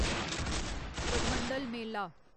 Purmandal Mela